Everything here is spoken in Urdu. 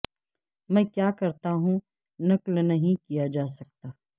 میں کیا کرتا ہوں نقل نہیں کیا جا سکتا